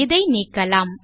இதை நீக்கலாம்